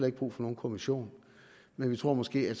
ikke brug for nogen kommission men vi tror måske at